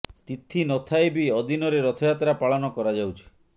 ତିଥି ନ ଥାଇ ବି ଅଦିନରେ ରଥଯାତ୍ରା ପାଳନ କରାଯାଉଛି